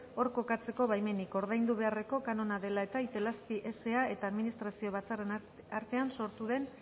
hor kokatzeko baimenik ordaindu beharreko kanona dela eta itelazpi sa eta administrazio batzarren artean sortu den